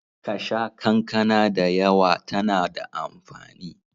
Ka sha kankana da yawa tana da amfani.